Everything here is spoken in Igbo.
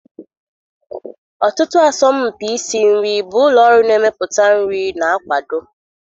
Ọtụtụ asọmpi isi nri bụ ụlọ ọrụ na-emepụta nri na-akwado.